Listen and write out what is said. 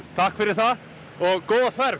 takk fyrir það góða ferð